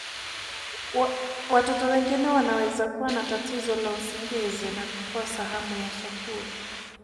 Watoto wengine wanaweza kuwa na tatizo la usingizi na kukosa hamu ya chakula.